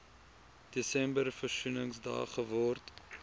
desember versoeningsdag geword